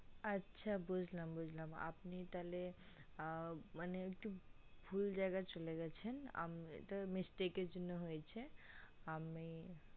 আচ্ছা আচ্ছা বুজলাম বুজলাম আপনি তালে মানে একটু ভুল জায়গায় চলে গেছেন এটা mistake এর জন্য হয়েছে আমি